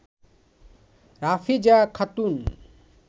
Rafeza Khatun